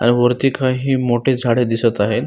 आणि वरती काही मोठी झाडे दिसत आहेत.